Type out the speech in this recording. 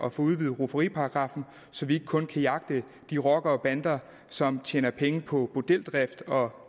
at få udvidet rufferiparagraffen så vi ikke kun kan jagte de rockere og bander som tjener penge på bordeldrift og